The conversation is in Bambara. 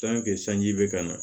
sanji bɛ ka na